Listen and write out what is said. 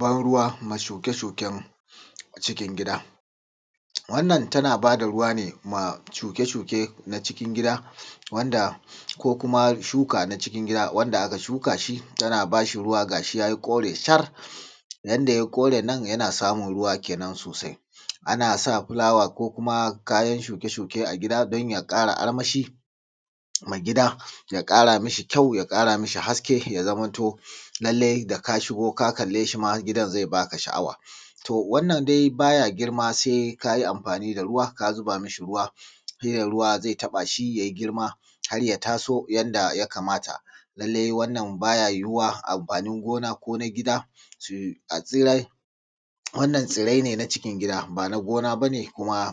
Ban ruwa ma shuke-shuken cikin gida, wannan tana ba da ruwa ne ma shuke-shuken cikin gida ko kuma shuka na cikin gida wanda aka shuka shi tana ba shi ruwa ga shi ya yi kore shar yadda yai kore nan kenan yana samun ruwa sosai ana sa fulawa ko kuma Kayan shuke-shuke a gida don ya ƙara armashi mai gida ya ƙara mi shi ƙyau ya ƙara mi shi haske ya zamanto lalaci da ka shigo ka kalle shi ma ya ba ka sha'awa. To wannan dai baya girma sai ka yi amfani da ruwa shi ne ruwa zai taɓa shi ya yi girma har ya taso yadda ya kamata lallai wannan ba ya yiwuwa amfani gona ko na gida a tsirar wannan tsirai ne na cikin gida ba na gona ba ne